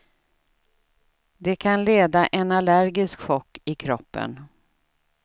Det kan leda en allergisk chock i kroppen.